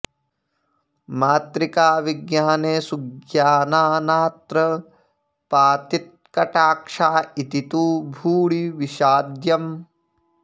मातृकाविज्ञाने सुज्ञाना नात्र पातितकटाक्षा इति तु भूरि विषाद्यम्